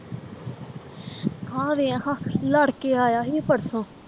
ਆਹ ਵੇਖ ਖਾਂ ਲੜਕੇ ਆਇਆ ਸੀ ਇਹ ਪਰਸੋਂ